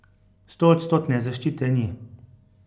Stoodstotne zaščite ni.